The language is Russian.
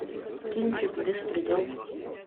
кинчик беспредел